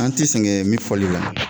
An ti sɛŋɛ min fɔli la